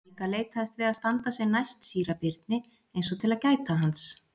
Helga leitaðist við að standa sem næst síra Birni eins og til að gæta hans.